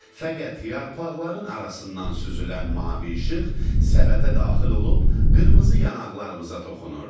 Fəqət yarpaqların arasından süzülən mavi işıq səbətə daxil olub qırmızı yanaqlarımıza toxunurdu.